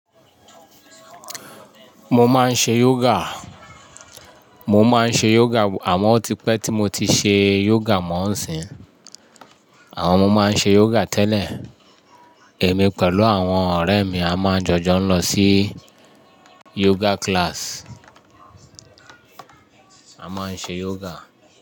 Mo máa ń ṣe yoga, mo máa ń ṣe yoga àwọn òtípé tí mo ti ṣe yoga mọ́ ǹsìn. Àwọn ọmọ máa ń ṣe yoga tẹ́lẹ̀. Èmi pẹ̀lú àwọn ọ̀rẹ́ mi a máa ń jọjọ lọ sí yoga class. A máa ń ṣe yoga.